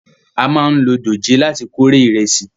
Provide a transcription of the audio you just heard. A máa ń lò dòjé láti kórè ìrẹsì